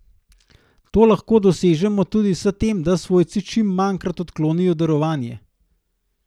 To lahko dosežemo tudi s tem, da svojci čim manjkrat odklonijo darovanje.